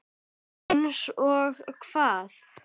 Einsog hvað?